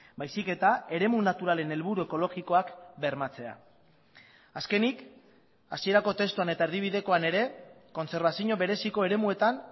baizik eta eremu naturalen helburu ekologikoak bermatzea azkenik hasierako testuan eta erdibidekoan ere kontserbazio bereziko eremuetan